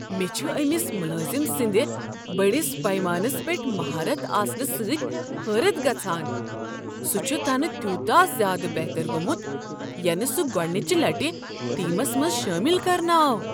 مے٘ چھُ أمس ملٲزم سٕنٛد بٔڑس پیمانس پیٹھ مہارت آسنہٕ سۭتۍ حٲرت گژھان، سہُ چھُ تنہٕ تیوٗتاہ زیادٕ بہتر گوٚمت، ینہٕ سہُ گۄڑنچہ لٹہ ٹیٖمس منٛز شٲمل کرنہٕ آو۔